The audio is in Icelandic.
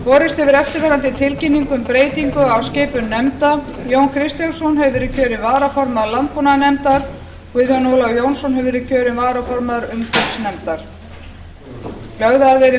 borist hefur eftirfarandi tilkynning um breytingu á skipun nefnda jón kristjánsson hefur verið kjörinn varaformaður landbúnaðarnefndar guðjón ólafur jónsson hefur verið